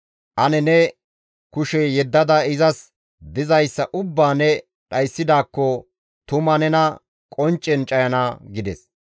Ane ne kushe yeddada izas dizayssa ubbaa ne dhayssidaakko tuma izi nena qonccen cayana» gides.